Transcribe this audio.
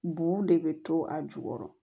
Bu de bɛ to a jukɔrɔ